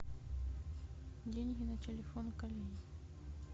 деньги на телефон коллеге